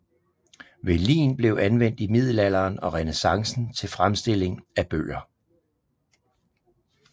Velin blev anvendt i middelalderen og renæssancen til fremstilling af bøger